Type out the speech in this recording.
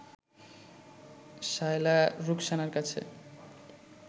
শায়লা রুখসানার কাছে